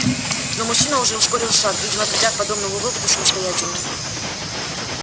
но мужчина уже ускорил шаг видимо придя к подобному выводу самостоятельно